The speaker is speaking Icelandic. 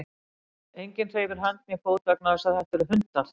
Enginn hreyfir hönd né fót vegna þess að þetta eru hundar.